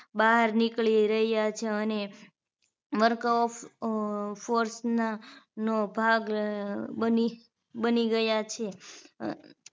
બહાર નીકળી રહ્યા છે અને marco of forth ના નો ભાગ બની બની ગયા છે અ